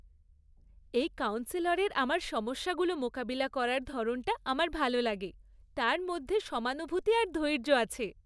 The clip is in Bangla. এই কাউন্সেলরের আমার সমস্যাগুলো মোকাবিলা করার ধরনটা আমার ভালো লাগে। তাঁর মধ্যে সমানুভূতি আর ধৈর্য আছে।